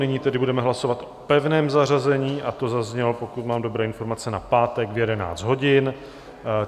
Nyní tedy budeme hlasovat o pevném zařazení, a to zaznělo, pokud mám dobré informace, na pátek v 11 hodin.